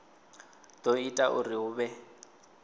do ita uri hu vhe